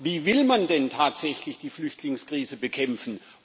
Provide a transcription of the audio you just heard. Wie will man denn tatsächlich die Flüchtlingskrise bekämpfen?